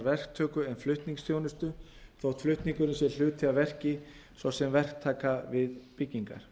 verktöku en flutningsþjónustu þótt flutningurinn sé hluti af verki svo sem verktaka við byggingar